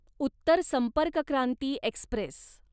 Uttar Sampark Kranti Express